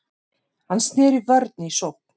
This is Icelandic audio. Hann sneri vörn í sókn.